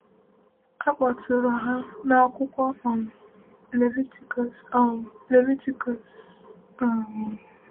A kpọtụrụ ha n’akwụkwọ um Levitikus. um Levitikus. um